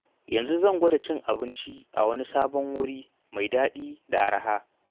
Yau zan gwada cin abinci a wani sabon wuri mai daɗi da araha.